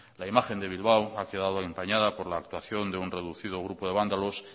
la imagen de bilbao ha quedado empañada por la actuación de un reducido grupo de vándalos